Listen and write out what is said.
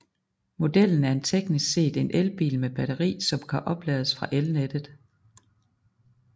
Modellen er teknisk set en elbil med batterier som kan oplades fra elnettet